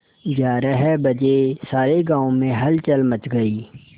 ग्यारह बजे सारे गाँव में हलचल मच गई